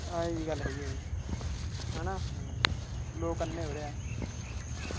ਆਹੋ ਇਵੀਂ ਗੱਲ ਹੈਗੀ ਆ ਜੀ ਹਨਾਂ ਲੋਕ ਅੰਨੇ ਹੋ ਰਹੇ ਆ।